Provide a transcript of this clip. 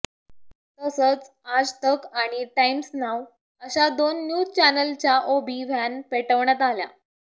तसंच आज तक आणि Times Now अशा दोन न्यूज चॅनलच्या ओबी व्हॅन पेटवण्यात आल्या